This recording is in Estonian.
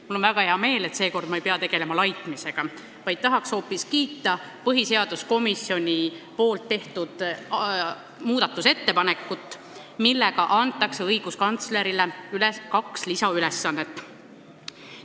Mul on väga hea meel, et seekord ma ei pea tegelema laitmisega, vaid tahan hoopis kiita põhiseaduskomisjoni tehtud muudatusettepanekut, millega antakse õiguskantslerile kaks lisaülesannet.